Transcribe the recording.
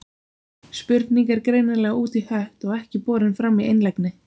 Spurning er greinilega út í hött og ekki borin fram í einlægni.